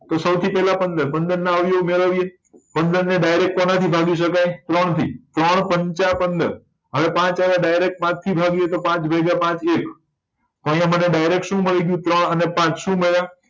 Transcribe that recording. તો સૌથી પેલા પંદર પંદર ના અવયવો મેળવીએ પંદર ને direct કોના થી ભાગી શકાય ત્રણ થી ત્રણ પંચા પંદર હવે પાંચ આવ્યા તો direct પાંચ થી જ ભાગીયે તો પાંચ ભાગ્યા પાંત્રીસ તો અહિયાં direct મને શું મળી ગયું ત્રણ અને પાંચ શું મળ્યા